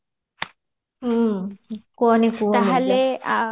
ହ୍ମ କୁହନି କୁହନି